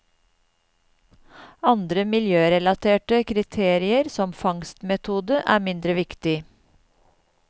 Andre m0iljørelaterte kriterier, som fangstmetode, er mindre viktig.